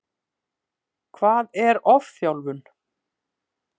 Hvað er ofþjálfun?